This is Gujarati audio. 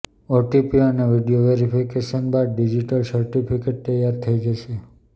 ઓટીપી અને વીડિયો વેરિફિકેશન બાદ ડિજિટલ સર્ટિફિકેટ તૈયાર થઇ જશે